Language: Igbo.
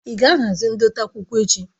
Ị ga-ahazi ndote akwụkwọ echi?